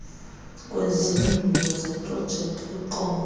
kwezindululo zeprojekthi kwiqonga